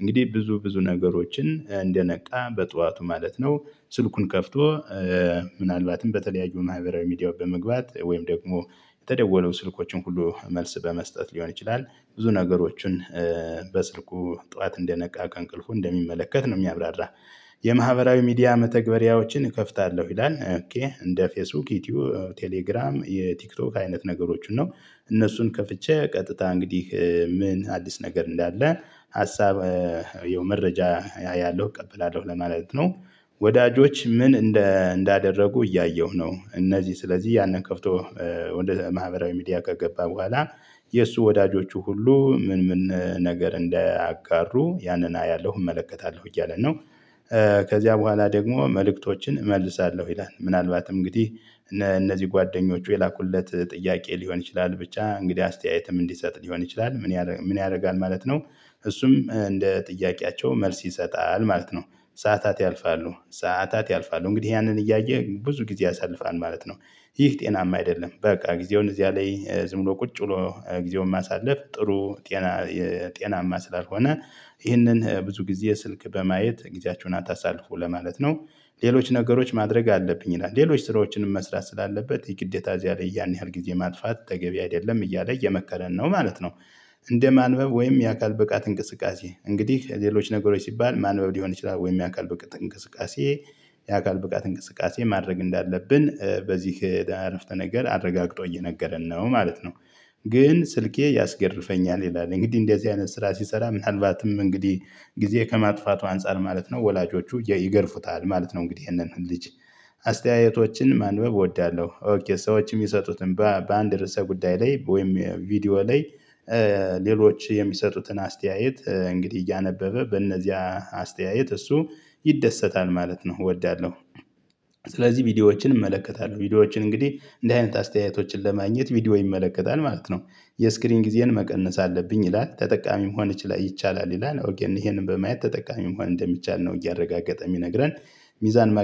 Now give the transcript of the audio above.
እንግዲህ ብዙ ብዙ ነገሮችን እንደነቃ በጠዋቱ ማለት ነው። ስልኩን ከፍቶ ምናልባትም በተለያዩ ማህበራዊ ሚዲያ በመግባት ወይም ደግሞ የተደወሉ ስልኮችን ሁሉ መልስ በመስጠት ሊሆን ይችላል። ብዙ ነገሮችን በስልኩ ጠዋት እንደነቃ ከእንቅልፉ እንደሚመለከት ነው የሚያብራራ። የማህበራዊ ሚዲያ መተግበሪያዎችን እከፍታለሁ ይላል። እንደ ፌስቡክ ዩቲዩብ ቴሌግራም የቲክቶክ አይነት ነገሮችን ነው እነሱን ከፍቼ ቀጥታ እንግዲህ ምን አዲስ ነገር እንዳለ ሀሳብ መረጃ አያለው እቀበላለሁ ለማለት ነው። ወዳጆች ምን? እንዳደረጉ እያየሁ ነው እነዚህ ስለዚህ ያንን ከፍቶ ወደ ማህበራዊ ሚዲያ ከገባ በኋላ የእሱ ወዳጆቹ ሁሉ ምን ምን ነገር እንዳአጋሩ ያንን አያለሁ እመለከታለሁ እያለ ነው። ከዚያ በኋላ ደግሞ መልእክቶችን እመልሳለሁ ይላል ምናልባትም እንግዲህ እነዚህ ጓደኞቹ የላኩለት ጥያቄ ሊሆን ይችላል ብቻ እንግዲህ አስተያየትም እንዲሰጥ ሊሆን ይችላል ምን ምን ያደርጋል ማለት ነው። እሱም እንደ ጥያቄያቸው መልስ ይሰጣል ማለት ነው። ሰዓታት ያልፋሉ ሰዓታት ያልፋሉ እንግዲህ ያንን እያየ ብዙ ጊዜ ያሳልፋል ማለት ነው። ይህ ጤናማ አይደለም በቃ ጊዜውን እዚያ ላይ ዝም ብሎ ቁጭ ብሎ ጊዜውን ማሳለፍ ጥሩ። ጤና ጤናማ ስላልሆነ ይህንን ብዙ ጊዜ ስልክ በማየት ጊዜያችሁን አታሳልፉ ለማለት ነው። ሌሎች ነገሮች ማድረግ አለብኝ ይላል ሌሎች ስራዎችንም መስራት ስላለበት የግዴታ እዚያ ላይ ያን ያህል ጊዜ ማጥፋት ተገቢ አይደለም እያለ እየመከረን ነው ማለት ነው። እንደ ማንበብ ወይም የአካል ብቃት እንቅስቃሴ እንግዲህ ሌሎች ነገሮች ሲባል ማንበብ ሊሆን ይችላል ወይም የአካል ብቃት እንቅስቃሴ። የአካል ብቃት እንቅስቃሴ ማድረግ እንዳለብን በዚህ አረፍተ ነገር አረጋግጦ እየነገረን ነው ማለት ነው። ግን ስልኬ ያስገርፈኛል ይላል እንግዲህ እንደዚህ አይነት ስራ ሲሰራ ምናልባትም እንግዲህ ጊዜ ከማጥፋቱ አንፃር ማለት ነው ወላጆቹ ይገርፉታል ማለት ነው እንግዲህ ይሄንን ልጅ። አስተያየቶችን ማንበብ እወዳለሁ ኦኬ ሰዎችን የሚሰጡትን በአንድ ርዕሰ ጉዳይ ላይ ወይም ቪዲዮ ላይ። ሌሎች የሚሰጡትን አስተያየት እንግዲህ እያነበበ በእነዚያ አስተያየት እሱ ይደሰታል ማለት ነው እወዳለሁ። ስለዚህ ቪዲዮዎችን እመለከታለሁ ቪዲዮዎችን እንግዲህ እንደ አይነት አስተያየቶችን ለማግኘት ቪዲዮ ይመለከታል ማለት ነው። የስክሪን ጊዜን መቀነስ አለብኝ ይላል ተጠቃሚ መሆን ይቻላል ይላል ወገን ይሄንን በማየት ተጠቃሚ መሆን እንደሚቻል ነው እያረጋገጠ የሚነግረን። ሚዛን